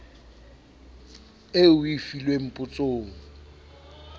eo o e filweng potsong